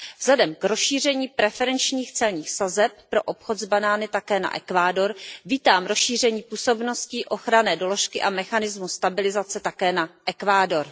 Vzhledem k rozšíření preferenčních celních sazeb pro obchod s banány také na Ekvádor vítám rozšíření působnosti ochranné doložky a mechanismu stabilizace také na Ekvádor.